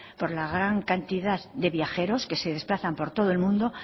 por la gran cantidad de viajeros que se desplazan por todo el mundo